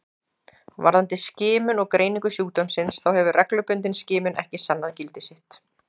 Varðandi skimun og greiningu sjúkdómsins þá hefur reglubundin skimun ekki sannað gildi sitt.